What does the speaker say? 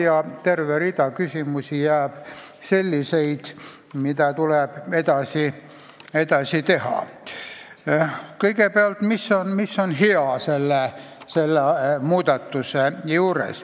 Jääb terve hulk küsimusi, millega tuleb edasi tegelda.